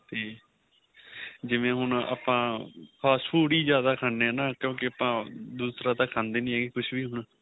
ਤੇ ਜਿਵੇਂ ਹੁਣ ਆਪਾਂ fast food ਹੀ ਜਿਆਦਾ ਖਾਣੇ ਆਂ ਨਾਂ ਕਿਉਂਕਿ ਆਪਾਂ ਦੂਸਰਾ ਤਾਂ ਖਾਦੇ ਨਹੀਂ ਹੈਗੇ ਕੁੱਛ ਵੀ ਹੁਣ